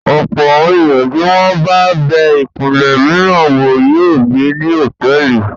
Ọ̀pọ̀ àwọn ènìyàn tí wọ́n bá bẹ ìpínlẹ̀ mìíràn wò yóò gbé ní hòtẹ́ẹ́lì.